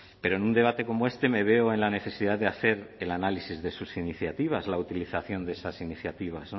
pero en un debate como este me veo en la necesidad de hacer el análisis de sus iniciativas la utilización de esas iniciativas